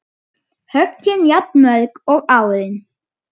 Höggin jafnmörg og árin